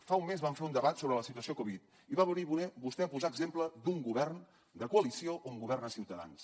fa un mes vam fer un debat sobre la situació covid i va venir vostè a posar exemple d’un govern de coalició un govern de ciutadans